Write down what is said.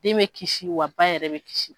Den bɛ kisi wa ba yɛrɛ bɛ kisi